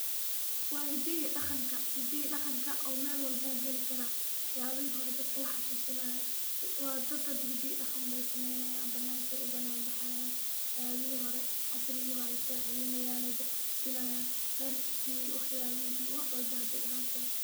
Waa hidaha iyo daqanka, hidaha iyo daqanka oo meel walbo wuu gali karaa, wax yaabihi hore dadka laxuusinaayo waa dad hada hida iyo daqan beey sameeynayaan banaanka ayeey ubanaan baxayaan, wax yaabihi hore casrigi hore baay soo celinaayan dadka tusinayaan darki wax yaabihi wax walbo hadaay ahaato.